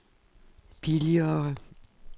billigere